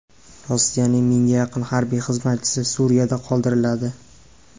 Rossiyaning mingga yaqin harbiy xizmatchisi Suriyada qoldiriladi.